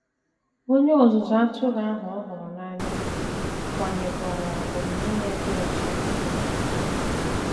Onye ọzụzụ atụrụ ahụ ọ hụrụ n’anya kwanyekwaara omume ya dị ọcha ùgwù.